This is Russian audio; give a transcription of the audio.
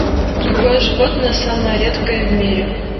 какое животное самое редкое в мире